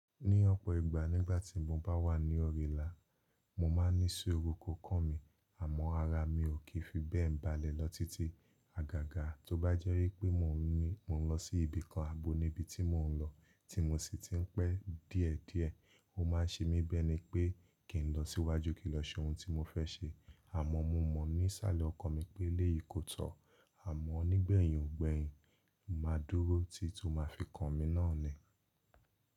Ní ọ̀pọ̀ ìgbà nígbà tí mo bá wà ní òrìlà, mo máa ní suuru kó kàn mí, àmọ́ ara mi ò kí fi bẹ́ẹ̀ balẹ̀ lọ títí. Àgàgà tó bá jẹ́ wípé mò ń ní mò ń lọ sí ibìkan ààbò ní ibi tí mò ń lọ, tí mo sì ti ń pẹ́ díẹ̀ díẹ̀, ó máa ṣe mí biẹ́ni pé kì n lọ síwájú kì n lọ ṣe ohun tí mo fẹ́ ṣe. Àmọ́ mo mọ̀ ní isàlẹ̀ ọkàn mi pé léyìí kò tọ́, àmọ́ nígbẹ̀yìn gbẹ̀yìn mo máa dúró títí ó máa fi kan mí náà nù.